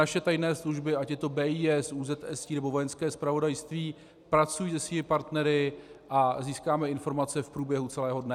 Naše tajné služby, ať je to BIS, ÚZSI, nebo Vojenské zpravodajství, pracují se svými partnery a získáme informace v průběhu celého dne.